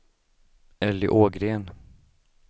Elly Ågren